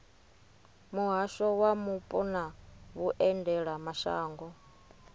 muhasho wa mupo na vhuendelamashango